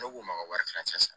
Ne k'u ma ka wari tilancɛ san